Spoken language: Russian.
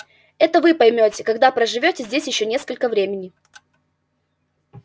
вы это поймёте когда проживёте здесь ещё несколько времени